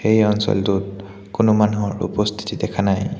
এই অঞ্চলটোত কোনো মানুহৰ উপস্থিতি দেখা নাই।